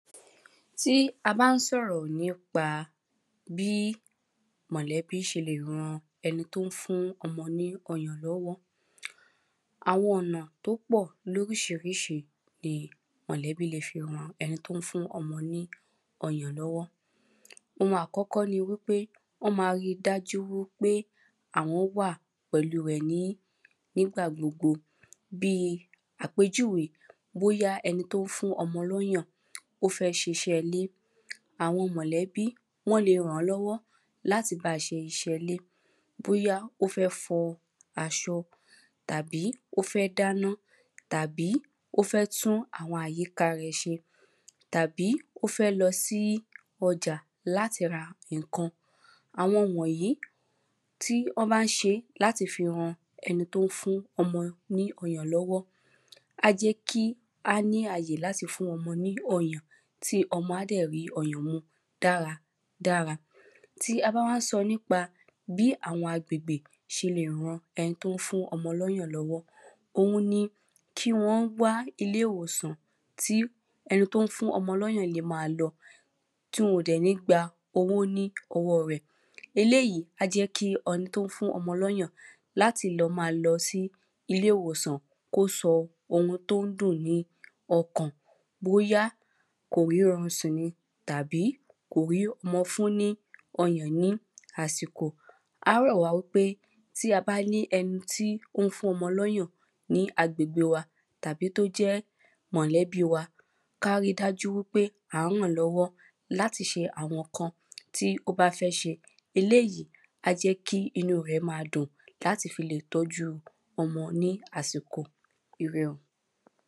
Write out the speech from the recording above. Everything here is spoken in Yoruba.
Tí a bá ń sọ̀rọ̀ nípa bí. Àwọn ọ̀nà tó pọ̀ lóríṣiríṣi ni mọ̀lẹ́bí ṣe lè ran ẹni tó ń fún ọmọ ní ọyàn lọ́wọ́. Ohun àkọ́kọ́ ni wípé wọ́n má rí dájú wípé àwọn wà pẹ̀lú rẹ̀ nígbà gbogbo bí àpèjúwe bóyá ẹni tó ń fún ọmọ lóyàn ó fẹ́ ṣiṣẹ́ ilé àwọn mọ̀lẹ́bí wọ́n lẹ ràn lọ́wọ́ láti bá ṣe iṣẹ́ ilé. Bóyá ó fẹ́ fọ aṣọ tàbí ó fẹ́ dáná, tàbí ó fẹ́ tún àwọn àyíká rẹ̣̀ se tàbí ó fẹ́ lọ sí ọjà láti ra nǹkan. Àwọn wọ̀nyí tí wọ́n bá ń ṣe láti fi ran ẹni tó ń fún ọmọ ní ọyàn lọ́wọ́ á jẹ́ kí ó ní àyè láti fi fún ọmọ ní ọyàn tí ọmọ á dẹ̀ rí ọyàn mu dáradára. Tá ba wá ń sọ nípa bí àwọn agbègbè ṣe lè ran ẹni tó ń fún ọmọ ní ọyàn lọ́wọ́ òun ni kí wọ́n wá ilé ìwòsàn tí ẹni tó ń fún ọmọ lọ́yàn le má lọ tí wọn ò dẹ̀ ní gba owó ní ọwọ́ rẹ̀ eléèyí á jẹ́ kí ẹni tó ń fún ọmọ lọ́yàn láti lọ má lọ sí ilé ìwòsàn kó sọ ohun tó ń dùn ní okàn bóyá kò rí orun sùn ni tàbí kò rí ọmọ fún ni ọyàn ní àsìkò á rọ̀ wá wípé tí a bá ní ẹni tí ó ń fún ọmọ lọ́yàn ní agbègbè wa tàbí tó jẹ́ mọ̀lẹ́bí wa kárí dájú wípé à ń ràn lọ́wọ́ láti ṣe àwọn nǹkan tí ó bá fẹ́ ṣe eléèyí a jẹ́ kí inú rẹ̀ má dùn láti fi lè tọ́jú ọmọ ní àsìkò ire o.